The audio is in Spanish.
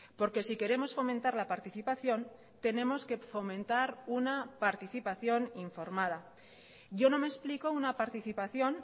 porque si queremos fomentar la participación tenemos que fomentar una participación informada yo no me explico una participación